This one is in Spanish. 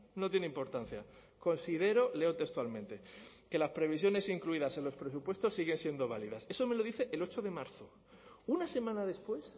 no tiene importancia considero leo textualmente que las previsiones incluidas en los presupuestos siguen siendo válidas eso me lo dice el ocho de marzo una semana después